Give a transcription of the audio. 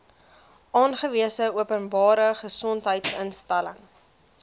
aangewese openbare gesondheidsinstelling